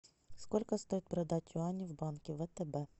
сколько стоит продать юани в банке втб